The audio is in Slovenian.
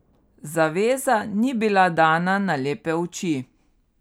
Zaveza ni bila dana na lepe oči.